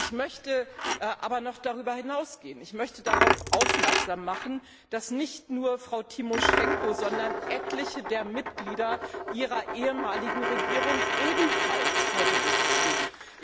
Ich möchte aber noch darüber hinausgehen und darauf aufmerksam machen, dass nicht nur Frau Tymoschenko, sondern etliche der Mitglieder ihrer ehemaligen Regierung ebenfalls vor Gericht stehen.